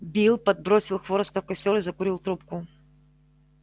билл подбросил хвороста в костёр и закурил трубку